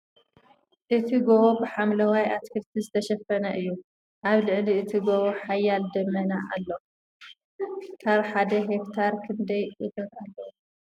እቲ ጎቦ ብ ሓምለዋይ ኣትክልቲ ዝተሸፈነ እዩ ። ኣብ ልዕሊ እቲ ጎቦ ሓያል ደመና ኣሎ ። ካብ ሓደ ሄክታር ክንደይ እቶት ኣለዎ ?